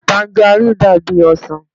Tajaríìnì dàbí ọsàn